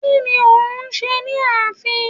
Kí ni o hún ṣe ni ààfin